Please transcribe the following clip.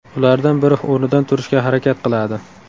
Ulardan biri o‘rnidan turishga harakat qiladi.